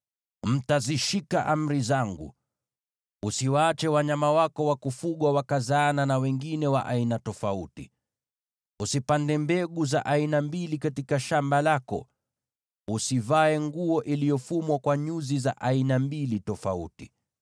“ ‘Mtazishika amri zangu. “ ‘Usiwaache wanyama wako wa kufugwa wakazaana na wengine wa aina tofauti. “ ‘Usipande mbegu za aina mbili katika shamba lako. “ ‘Usivae nguo iliyofumwa kwa nyuzi za aina mbili tofauti.